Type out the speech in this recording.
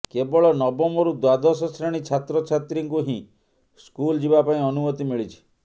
କେବଳ ନବମରୁ ଦ୍ୱାଦଶ ଶ୍ରେଣୀ ଛାତ୍ରଛାତ୍ରୀଙ୍କୁ ହିଁ ସ୍କୁଲ ଯିବା ପାଇଁ ଅନୁମତି ମିଳିଛି